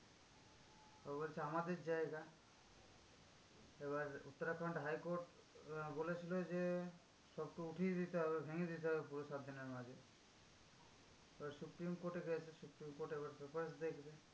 তো বলছে আমাদের জায়গা। এবার উত্তরাখন্ড high court উম বলেছিলো যে, সব তো উঠিয়ে দিতে হবে, ভেঙে দিতে হবে পুরো সাত দিনের মাঝে। এবার supreme court এ গেছে, supreme court এবার দু পাশ দেখবে।